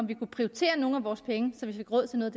vi kunne prioritere nogle af vores penge så vi fik råd til noget